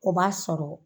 O b'a sɔrɔ